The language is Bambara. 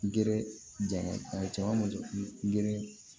Gɛrɛ jama gere